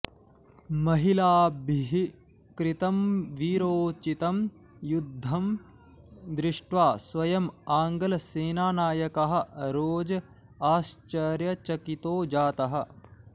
महिलाभिः कृतं वीरोचितं युध्दं दृष्ट्वा स्वयम् आङ्ग्लसेनानायकः रोज आश्च्र्यचकितो जातः